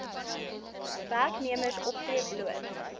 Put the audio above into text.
werknemers optree bloot